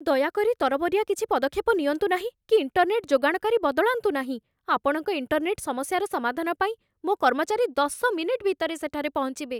ଦୟାକରି ତରବରିଆ କିଛି ପଦକ୍ଷେପ ନିଅନ୍ତୁ ନାହିଁ କି ଇଣ୍ଟର୍ନେଟ୍ ଯୋଗାଣକାରୀ ବଦଳାନ୍ତୁ ନାହିଁ, ଆପଣଙ୍କ ଇଣ୍ଟର୍ନେଟ୍ ସମସ୍ୟାର ସମାଧାନ ପାଇଁ ମୋ କର୍ମଚାରୀ ଦଶ ମିନିଟ ଭିତରେ ସେଠାରେ ପହଞ୍ଚିବେ।